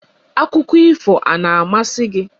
Akụkọ ifo a na-amasị gị?